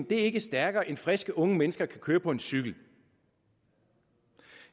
det er ikke stærkere end friske unge mennesker kan køre på en cykel